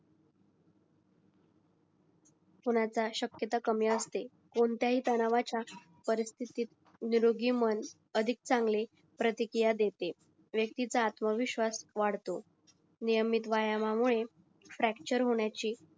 होण्याचा शकयता कमी असते कोणत्याही तणावाच्या परिस्थितीत निरोगी मन अधिक चांगले प्रतिकिया देते व्क्तीचा आत्मवीश्वास वाढतो नियमित व्यायाम मुळे फ्रक्चर्र होण्याची